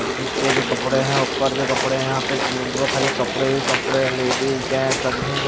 नीचे भी कपड़े हैं ऊपर भी कपड़े हैं यहां पे ढूंढ लो खाली कपड़े ही कपड़े हैं लेडिज जेंट्स सब --